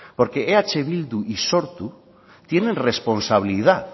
porque eh bildu y sortu tienen responsabilidad